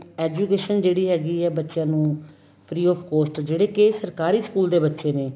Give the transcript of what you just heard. education ਜਿਹੜੀ ਹੈਗੀ ਏ ਬੱਚਿਆਂ ਨੂੰ free of cost ਜਿਹੜੇ ਕਿ ਸਰਕਾਰੀ school ਦੇ ਬੱਚੇ ਨੇ